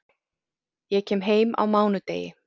Ég kem heim á mánudegi.